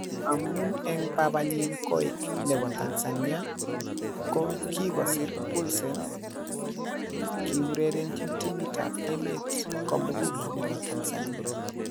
Amun en babanyin koik nebo Tanzania, Ko kigosir Poulsen kiurerenchi timit ab emet komugul nebo Tanzania.